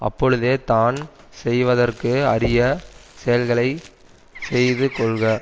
அப்பொழுதே தான் செய்வதற்கு அரிய செயல்களை செய்து கொள்க